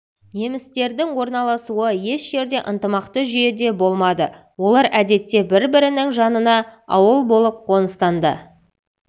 немістердің орналасуы еш жерде ынтымақты жүйеде болмады олар әдетте бір-бірінің жанына ауыл болып қоныстанды